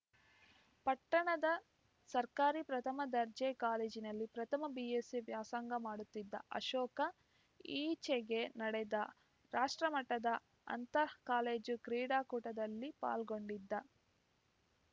ಪಟ್ಟಣದ ಸರ್ಕಾರಿ ಪ್ರಥಮ ದರ್ಜೆ ಕಾಲೇಜಿನಲ್ಲಿ ಪ್ರಥಮ ಬಿಎಸ್ಸಿ ವ್ಯಾಸಂಗ ಮಾಡುತ್ತಿದ್ದ ಅಶೋಕ ಈಚೆಗೆ ನಡೆದ ರಾಷ್ಟ್ರಮಟ್ಟದ ಅಂತರ್‌ ಕಾಲೇಜು ಕ್ರೀಡಾಕೂಟದಲ್ಲಿ ಪಾಲ್ಗೊಂಡಿದ್ದ